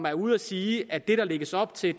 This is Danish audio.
er ude at sige at det der lægges op til er